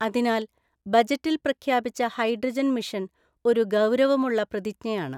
അതിനാൽ, ബജറ്റിൽ പ്രഖ്യാപിച്ച ഹൈഡ്രജൻ മിഷൻ ഒരു ഗൌരവമുള്ള പ്രതിജ്ഞയാണ്.